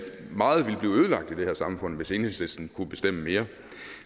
meget ville blive ødelagt i det her samfund hvis enhedslisten kunne bestemme mere